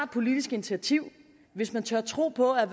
politisk initiativ hvis man tør tro på at